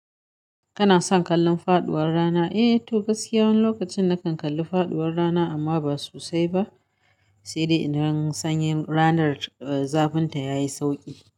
Kana son kallon faɗuwar rana? Eh, to gaskiya, wani lokacin na kan kalli faɗuwar rana amma ba sosai ba. Sai dai idan sanyin ranar, eh, zafinta yayi sauƙi.